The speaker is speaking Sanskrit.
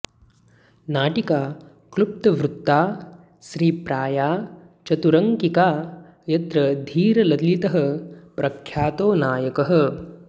नाटिका क्लुप्तवृत्ता स्त्रीप्राया चतुरङ्किका यत्र धीरललितः प्रख्यातो नायकः